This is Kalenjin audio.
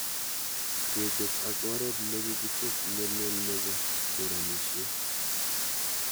Kechop ak oret nekikichop ne lel nepo choranishet